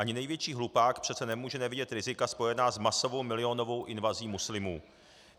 Ani největší hlupák přece nemůže nevidět rizika spojená s masovou milionovou invazí muslimů.